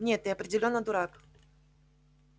нет ты определённо дурак